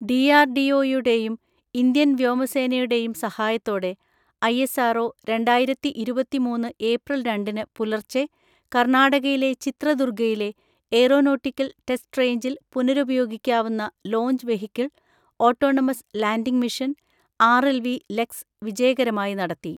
ഡിആർഡിഒയുടെയും, Indian വ്യോമസേനയുടെയും സഹായത്തോടെ ISRO, രണ്ടായിരത്തി ഇരുപത്തി മൂന്ന് ഏപ്രിൽ രണ്ടിന് പുലർച്ചെ, കർണാടകയിലെ ചിത്രദുർഗയിലെ എയ്റോനോട്ടിക്കൽ ടെസ്റ്റ് റേഞ്ചിൽ പുനരുപയോഗിക്കാവുന്ന launch vehicle, autonomous landing mission RLV LEX വിജയകരമായി നടത്തി.